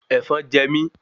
Èfọn je mi